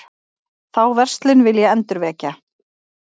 Þá verslun vil ég endurvekja.